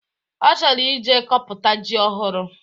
Ọ chọrọ ije kọpụta ji ohụrụ